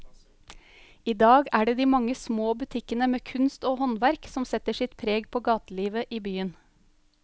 I dag er det de mange små butikkene med kunst og håndverk som setter sitt preg på gatelivet i byen.